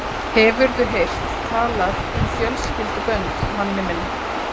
Hefurðu heyrt talað um fjölskyldubönd, manni minn?